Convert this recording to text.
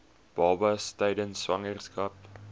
babas tydens swangerskap